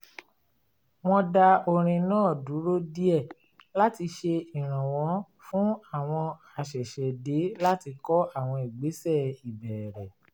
wọn dá orin náà dúró díẹ̀ láti ṣe ìrànwọ́ fún àwọn àṣẹ̀ṣẹ̀dé láti kọ́ àwọn ìgbésẹ̀ ìbẹ̀rẹ̀